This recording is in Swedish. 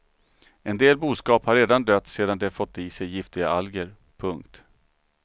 En del boskap har redan dött sedan de fått i sig giftiga alger. punkt